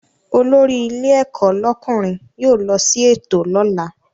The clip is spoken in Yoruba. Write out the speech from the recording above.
Olórí ilé ẹ̀kọ́ lọ́kùnrin yóò lọ sí ètò lọ́la